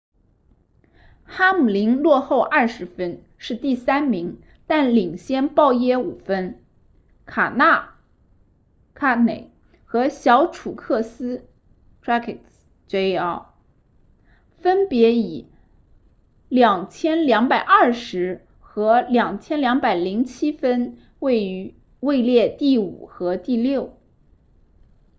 哈姆林落后二十分是第三名但领先鲍耶五分卡纳 kahne 和小楚克斯 truex jr 分别以 2,220 和 2,207 分位列第五和第六